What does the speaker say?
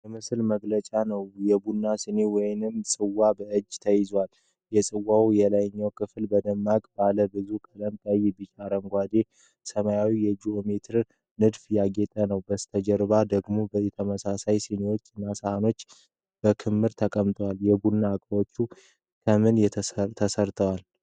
የምስል መግለጫ ነጭ፣ የቡና ስኒ ወይም ጽዋ በእጅ ተይዟል። የጽዋው የላይኛው ክፍል በደማቅ፣ ባለ ብዙ ቀለም (ቀይ፣ ቢጫ፣ አረንጓዴ፣ ሰማያዊ) የጂኦሜትሪክ ንድፍ ያጌጠ ነው። ከበስተጀርባው ደግሞ ተመሳሳይ ስኒዎች እና ሳህኖች በክምር ተቀምጠዋል። የቡና ዕቃዎች ከምን ተሠርተዋል?